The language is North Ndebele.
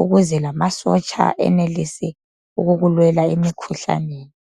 ukuze lamasotsha enelise ukukulwela emikhuhlaneni.